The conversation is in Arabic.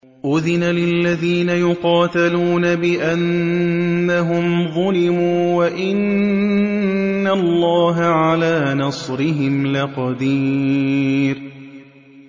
أُذِنَ لِلَّذِينَ يُقَاتَلُونَ بِأَنَّهُمْ ظُلِمُوا ۚ وَإِنَّ اللَّهَ عَلَىٰ نَصْرِهِمْ لَقَدِيرٌ